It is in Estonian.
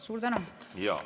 Suur tänu!